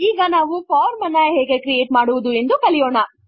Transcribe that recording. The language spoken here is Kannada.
ಈಗ ನಾವು ಫಾರ್ಮ್ ಹೇಗೆ ಕ್ರಿಯೇಟ್ ಮಾಡುವುದು ಎಂದು ಕಲಿಯೋಣ